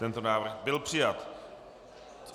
Tento návrh byl přijat.